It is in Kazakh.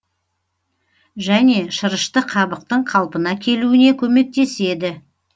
және шырышты қабықтың қалпына келуіне көмектеседі